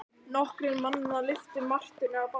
Nokkrir mannanna lyftu Marteini af baki.